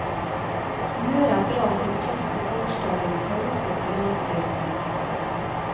Humøret er bra til tross for gårsdagens kaotiske landsstyremøte.